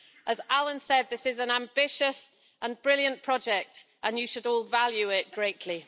As Alyn Smith said, this is an ambitious and brilliant project, and you should all value it greatly.